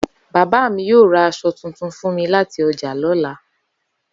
Baba mi yoo ra aso tuntun fun mi lati oja lola.